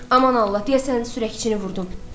Aman Allah, deyəsən sürəkçini vurdum.